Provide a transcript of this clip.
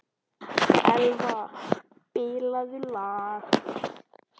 Elva, spilaðu lag.